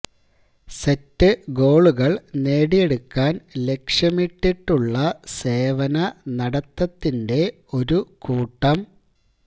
set ഗോളുകൾ നേടിയെടുക്കാൻ ലക്ഷ്യമിട്ടുള്ള സേവന നടത്തത്തിന്റെ ഒരു കൂട്ടം